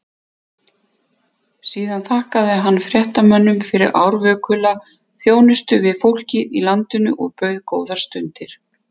Síðan þakkaði hann fréttamönnum fyrir árvökula þjónustu við fólkið í landinu og bauð góðar stundir.